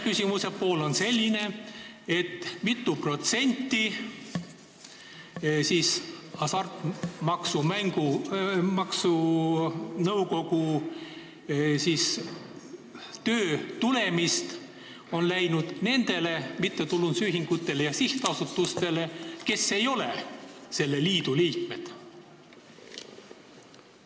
Küsimuse teine pool on selline: mitu protsenti Hasartmängumaksu Nõukogu töö tulemist on läinud nendele mittetulundusühingutele ja sihtasutustele, mis ei ole selle liidu liikmed?